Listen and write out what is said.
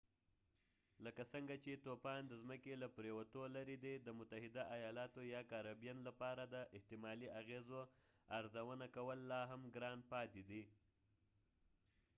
لکه څنګه چې طوفان د ځمکې له پريوتو لرې دی د متحده ایالاتو یا کارابین لپاره د احتمالي اغیزو ارزونه کول لاهم ګران پاتې دي